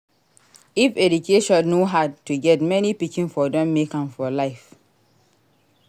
If education no hard to get many pikin for don make am for life.